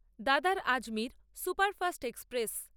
দাদার Ajmer superfast express